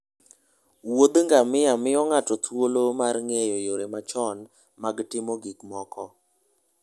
Wuoth ngamia miyo ng'ato thuolo mar ng'eyo yore machon mag timo gik moko.